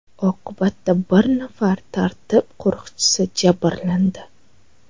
Oqibatda bir nafar tartib qo‘riqchisi jabrlandi.